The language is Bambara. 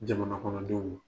Jamana kɔnɔdenw ye.